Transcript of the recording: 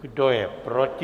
Kdo je proti?